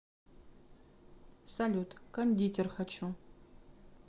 салют кондитер хочу